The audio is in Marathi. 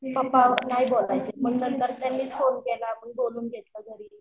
मम्मी पप्पा नाही बोलायचे मग नंतर त्यांनी फोन केला मग बोलवून घेतलं घरी.